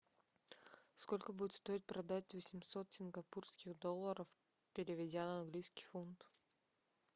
сколько будет стоить продать восемьсот сингапурских долларов переведя на английский фунт